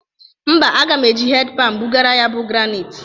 Mba, aga m eji hed pani bụgara ya bụ graniti.